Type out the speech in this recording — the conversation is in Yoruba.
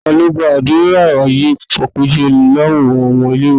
talo gba adura lori aaye apejọ awọn ọmọ ile-iwe?